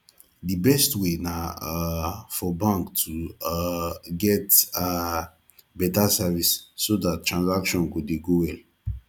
di best way na um for bank to um get um better service so dat transaction go dey go well